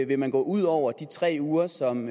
vil man gå ud over de tre uger som